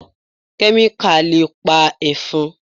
Kẹ́míkà le pa Ẹ̀fọn.